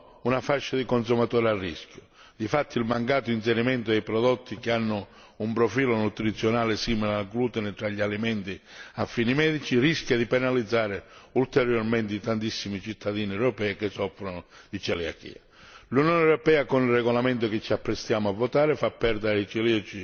difatti il mancato inserimento di prodotti che hanno un profilo nutrizionale simile al glutine tra gli alimenti a fini medici rischia di penalizzare ulteriormente i tantissimi cittadini europei che soffrono di celiachia. L'Unione europea con il regolamento che ci apprestiamo a votare fa perdere ai celiaci l'occasione per una maggiore tutela.